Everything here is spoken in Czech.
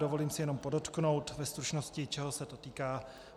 Dovolím si jenom podotknout ve stručnosti, čeho se to týká.